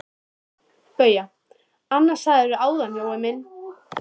BAUJA: Annað sagðirðu áðan, Jói minn.